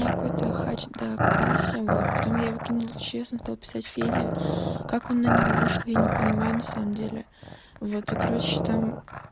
меня какой то хач докопался вот потом я выкинула в ч потом он стал писать федя как он на него вышел я не понимаю на самом деле вот и короче там